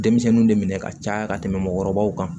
Denmisɛnninw de minɛ ka caya ka tɛmɛ mɔgɔkɔrɔbaw kan